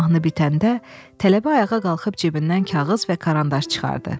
Mahnı bitəndə, tələbə ayağa qalxıb cibindən kağız və karandaş çıxartdı.